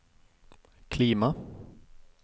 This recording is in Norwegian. klima